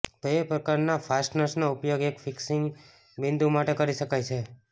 બે પ્રકારના ફાસ્ટનર્સનો ઉપયોગ એક ફિક્સિંગ બિંદુ માટે કરી શકાય છે